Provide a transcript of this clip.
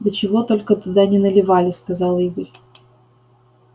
да чего только туда не наливали сказал игорь